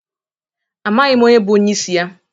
Amaghi m onye bụ onyeisi ya..